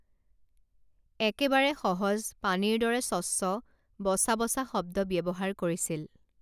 একেবাৰে সহজ পানীৰ দৰে স্বচ্ছ বচা বচা শব্দ ব্যৱহাৰ কৰিছিল